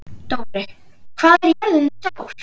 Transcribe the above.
Dóri, hvað er jörðin stór?